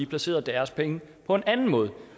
placerer deres penge på en anden måde